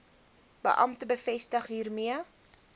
beampte bevestig hiermee